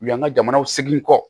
U y'an ka jamana segin kɔ